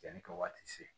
Yanni ka waati se